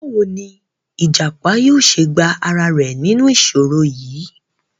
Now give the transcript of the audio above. Báwo ni ìjàpá yóò ṣe gba ara rẹ̀ nínú ìṣòro yìí?